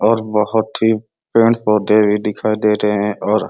और बहोत ही पेड़-पौधे भी दिखाई दे रहे हैं और --